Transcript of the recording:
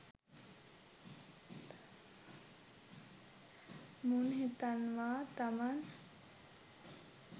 මුන් හිතන්වා තමන්